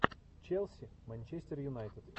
челси манчестер юнайтед